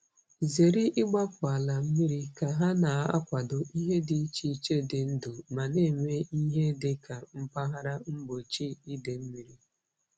Zere igbapu ala mmiri ka ha na-akwado ihe dị iche iche dị ndụ ma na-eme ihe dị ka mpaghara mgbochi ide mmiri.